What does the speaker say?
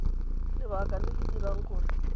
lebaka le le dirang gore